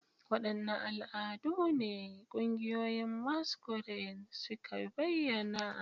Wadanne al'adu ne ƙungiyoyin masquerade suka bayyana?